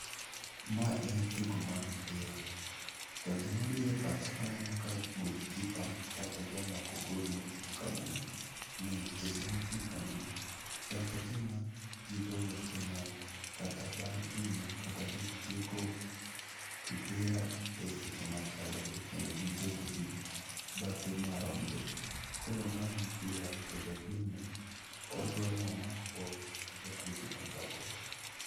Mae en tugo mar mpira to gima biro e pacha kaneno kae goalkeeper kata jamako gol mochung' kae no. Seche mochung' kanyono chal kagima ji goyo penalt kata bang' hinyo kata gitieko mpira eseche machalre kendo gibet e bathe maromre. Koro mae e mpira to ja golno odwaro omak ball majatugono dwa gweyo.